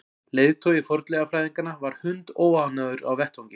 Leiðtogi fornleifafræðinganna var hundóánægður á vettvangi.